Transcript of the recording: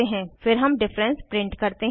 फिर हम difference print करते हैं